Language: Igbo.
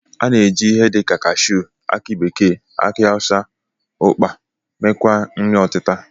A na-eji ihe dịka kashuu, aki bekee, aki awụsa, ụkpa meekwa nri ọtịta